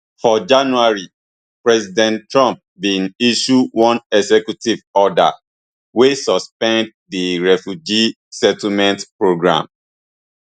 for january president trump bin issue one executive order wey suspend di refugee settlement program